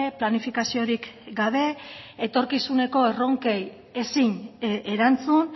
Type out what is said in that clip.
planifikaziorik gabe etorkizuneko erronkei ezin erantzun